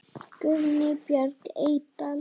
Guðný Björk Eydal.